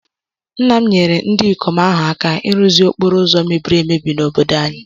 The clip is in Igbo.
Nna m nyeere ndị ikom ahụ aka ịrụzi okporo ụzọ mebiri emebi n’obodo anyị